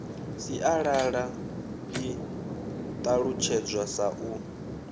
sialala i ṱalutshedzwa sa u